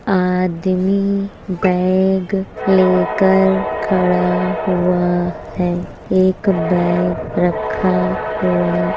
आदमी बैग लेकर खड़ा हुआ है एक बैग रखा हुआ --